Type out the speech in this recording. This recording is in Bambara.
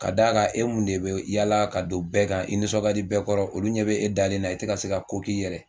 Ka d'a kan e mun de bɛ yaala ka don bɛɛ kan, i nisɔn ka di bɛɛ kɔrɔ olu ɲɛ bɛ e dalen na i tɛ ka se ka ko k'i yɛrɛ